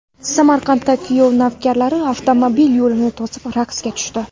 Samarqandda kuyov navkarlar avtomobil yo‘lini to‘sib raqsga tushdi.